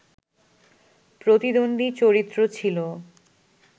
প্রতিদ্বন্দী চরিত্র ছিল